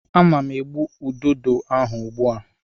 Ana m egbu ududo ahụ ugbu a.